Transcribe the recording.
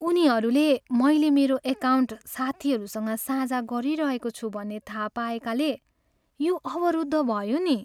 उनीहरूले मैले मेरो एकाउन्ट साथीहरूसँग साझा गरिरहेको छु भन्ने थाहा पाएकाले यो अवरुद्ध भयो नि।